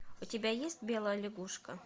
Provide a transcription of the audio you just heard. у тебя есть белая лягушка